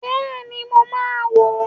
Bẹ́ẹ̀ni, mo máa wo